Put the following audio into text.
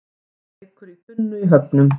Reykur í tunnu í Höfnum